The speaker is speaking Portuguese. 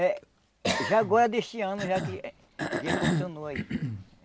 É, já agora deste ano já que já funcionou aí.